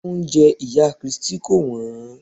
Oúnjẹ ìyá Christi kò wọ́n.